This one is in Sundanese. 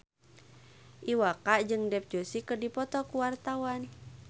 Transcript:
Iwa K jeung Dev Joshi keur dipoto ku wartawan